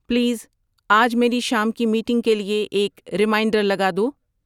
please آج میری شام کی میٹنگ کے لیۓ ایک ریمایٔنڈر لگا دو